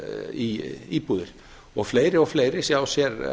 í íbúðir og fleiri og fleiri sjá sér